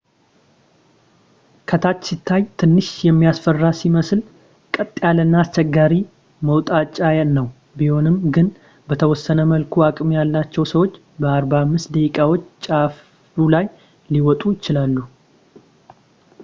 ከታች ሲታይ ትንሽ የሚያስፈራ ሲመስል ቀጥ ያለና አስቸጋሪ መውጣጫ ነው ቢሆንም ግን በተወሰነ መልኩ አቅም ያላቸው ሰዎች በ45 ደቂቃዎች ጫፉ ላይ ሊወጡ ይችላሉ